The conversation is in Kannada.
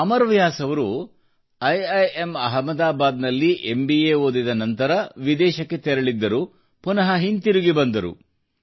ಅಮರ್ ವ್ಯಾಸ್ ಅವರು ಐಐಎಂ ಐಇಎಂ ಅಹಮದಾಬಾದ್ ನಲ್ಲಿ ಎಂಬಿಎ ಐಬಿಎಂ ಓದಿದ ನಂತರ ವಿದೇಶಕ್ಕೆ ತೆರಳಿದ್ದರು ಮತ್ತು ಪುನಃ ಹಿಂದಿರುಗಿ ಬಂದರು